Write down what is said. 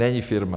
Není firma.